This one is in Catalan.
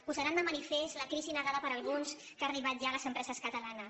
posaran de manifest la crisi negada per alguns que ha arribat ja a les empreses catalanes